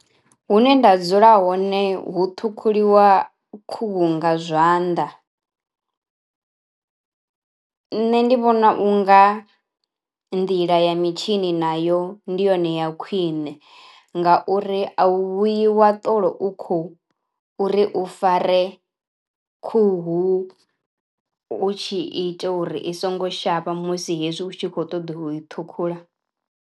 Hune nda dzula hone hu ṱhukhuliwa khuhu nga zwanḓa. Nṋe ndi vhona u nga nḓila ya mitshini nayo ndi yone ya khwine ngauri a u vhuyi wa ṱolo u khou uri u fare khuhu u tshi ita uri i songo shavha musi hezwi u tshi khou ṱoḓa u i ṱhukhula.